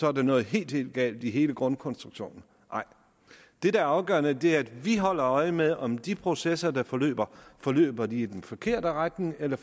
er der noget helt helt galt i hele grundkonstruktionen nej det der er afgørende er at vi holder øje med om de processer der forløber forløber i den forkerte retning eller